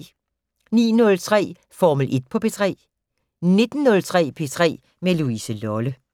09:03: Formel 1 på P3 19:03: P3 med Louise Lolle